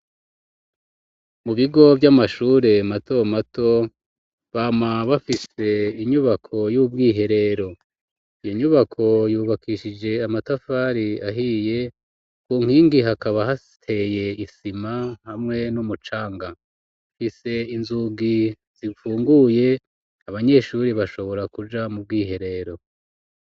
Mu bigo vy'amashure mato mato ,bama bafise inyubako y'ubwiherero ,iyo nyubako yubakishije amatafari ahiye ,ku nkingi hakaba hateye isima ,hamwe n'umucanga ,ifise inzugi zifunguye ,abanyeshuri bashobora kuja mu bwiherero.